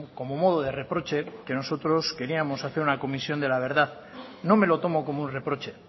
como modo de reproche que nosotros queríamos hacer una comisión de la verdad no me lo tomo como un reproche